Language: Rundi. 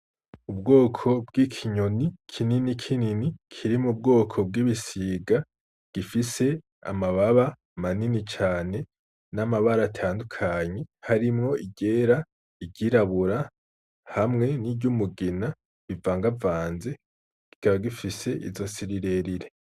Ubwoko bw'ikinyoni kinini kinini, kiri mu bwoko bw'ibisiga gifise amababa manini cane n'amabara atandukanye harimwo iryera, iry'irabura hamwe n'iryumugina bivangavanze, kikaba gifise izosi rirerire.